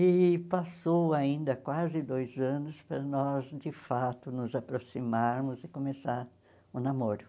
E passou ainda quase dois anos para nós, de fato, nos aproximarmos e começar o namoro.